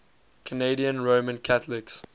canadian roman catholics